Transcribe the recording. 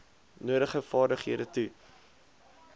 nodige vaardighede toe